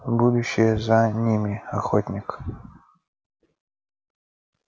будущее за ними охотник